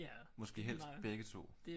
Måske helst begge to